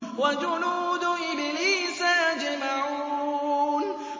وَجُنُودُ إِبْلِيسَ أَجْمَعُونَ